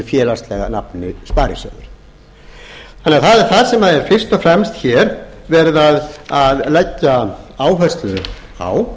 félagslega nafni sparisjóður það er það sem er fryst og fremst hér verið að leggja áherslu á við leggjum áherslu á